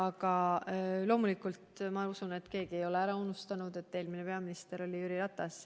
Ja loomulikult ma usun, et mitte keegi ei ole ära unustanud, et eelmine peaminister oli Jüri Ratas.